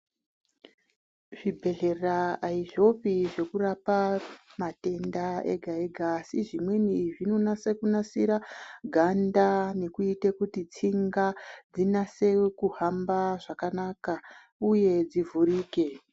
Zvibhedhlera aizvopi zvekurapa matenda ega -ega, asi zvimweni zvinonase kunasira ganda, nekuite kuti tsinga dzinase kuhamba zvakanaka, uye dzivhurike.